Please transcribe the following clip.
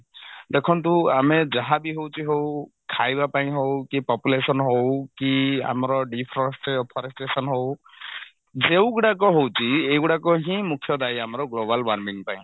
ଦେଖନ୍ତୁ ଆମେ ଯାହାବି ହଉଛି ହଉ ଖାଇବା ପାଇଁ ହଉ କି population ହଉ କି ଆମର deforest forestation ହଉ ଯଉଗୁଡାକ ହଉଛି ଏଇଗୁଡାକ ହିଁ ମୁଖ୍ୟ ଦାୟୀ ଆମର global warming ପାଇଁ